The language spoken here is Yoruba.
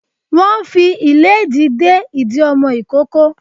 Wọ́n fi ìlédìí de ìdí ọmọ ìkókó